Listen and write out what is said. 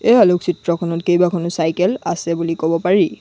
এই আলোক চিত্ৰখনত কেইবাখনো চাইকেল আছে বুলি ক'ব পাৰি।